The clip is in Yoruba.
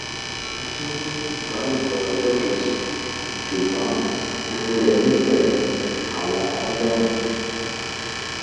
a tún ní ìbálòpọ lọjọ kejì ṣùgbọn gbogbo rẹ ni pẹlú àwọn kóndómù